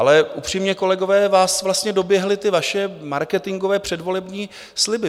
Ale upřímně, kolegové, vás vlastně doběhly ty vaše marketingové předvolební sliby.